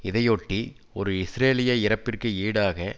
இதையொட்டி ஒரு இஸ்ரேலிய இறப்பிற்கு ஈடாக